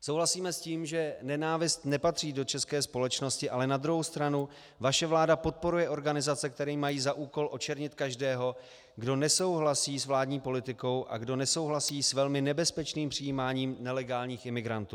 Souhlasíme s tím, že nenávist nepatří do české společnosti, ale na druhou stranu vaše vláda podporuje organizace, které mají za úkol očernit každého, kdo nesouhlasí s vládní politikou a kdo nesouhlasí s velmi nebezpečným přijímáním nelegálních imigrantů.